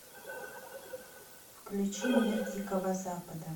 включи мир дикого запада